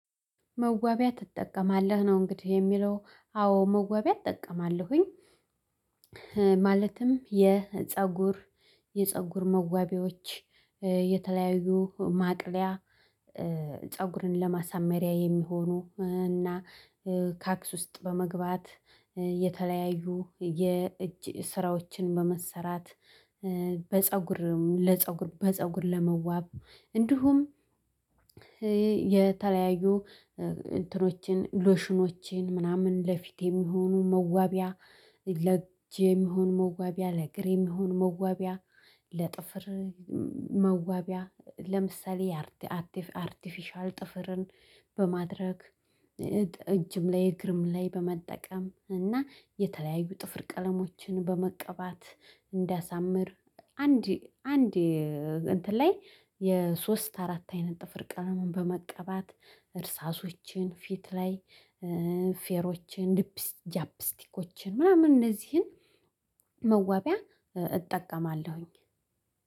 መዋቢያ ትጠቀማለህ ነው እንግዲህ የሚለው አዎ መዋቢያ እጠቀማለሁኝ። ማለትም የፀጉር የፀጉር መዋቢያዎች የተለያዩ ማቅለያ ፀጉርን ለማሳመሪያ የሚሆኑ እና ካክስ ውስጥ በመግባት የተለያዩ የእጅ ስራዎችን በመሰራት። በፀጉርም ለፀጉር በፀጉር ለመዋብ እንዲሁም የተለያዩ እንትኖችን ሎሽኖችን ምናምን ለፊት የሚሆኑ መዋቢያ ለጅ የሚሆኑ መዋቢያ ለእግር የሚሆኑ መዋቢያ ለጥፍር። መዋቢያ ለምሳሌ አርቲፊሻል ጥፍርን በማድረግ እጅም ላይ እግርም ላይ በመጠቀም እና የተለያዩ ጥፍር ቀለሞችን በመቀባት እንዲያሳምር። አንድ አንድ እንትን ላይ የሶስት አራት አይነት ጥፍር ቀለምን በመቀባት እርሳሶችን ፊት ላይ ፌሮችን ሊፕስቲክ ጃፕስቲኮችን ምናምን እነዚህን መዋቢያ እጠቀማለሁኝ